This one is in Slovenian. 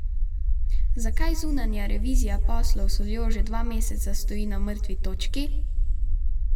Zakaj zunanja revizija poslov s soljo že dva meseca stoji na mrtvi točki?